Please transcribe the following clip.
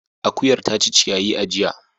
Akuyar ta ci ciyayi a jiya.